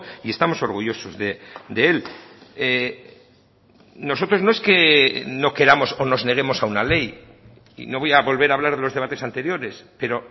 y estamos orgullosos de él nosotros no es que no queramos o nos neguemos a una ley y no voy a volver a hablar de los debates anteriores pero